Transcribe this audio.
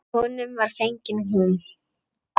Honum var fengin hún.